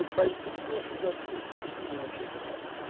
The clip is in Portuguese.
Ou cai tudo ou fica tudo, porque eu não vou mexer com nada agora.